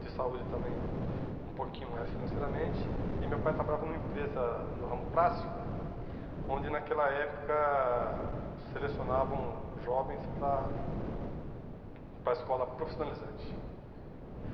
de saúde também um pouquinho mais financeiramente, e meu pai trabalhava numa empresa no ramo plástico, onde naquela época selecionavam jovens para a para a escola profissionalizante.